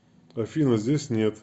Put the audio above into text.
афина здесь нет